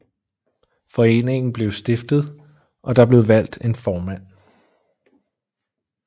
Foreningen blev stiftet og der blev valgt en formand